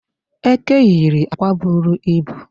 Eke yiri akwa buru ibu.